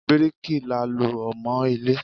Bíríkì là ló ń mọ ilé.